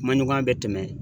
Kuma ɲɔgɔnya bɛ tɛmɛ